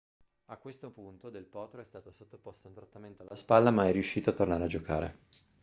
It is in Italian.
a questo punto del potro è stato sottoposto a un trattamento alla spalla ma è riuscito a tornare a giocare